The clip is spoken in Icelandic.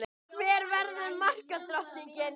Hver verður markadrottning?